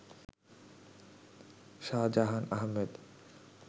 Shahjahan Ahmed